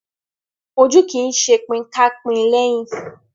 Ojú kì í ṣe pin ká pín léhín.